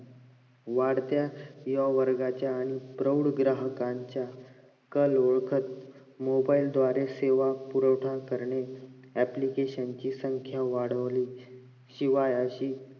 वाढत्या या वर्गाच्या आणि प्रम्ब ग्राहकांच्या कलीयुगात mobile द्वारे सेवा पुरवठा करणे application ची संख्या वाढवली शिवाय असे